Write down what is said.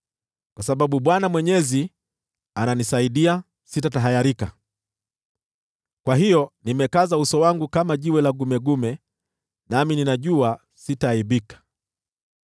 Kwa sababu Bwana Mwenyezi ananisaidia, sitatahayarika. Kwa hiyo nimekaza uso wangu kama jiwe la gumegume, nami ninajua sitaaibika.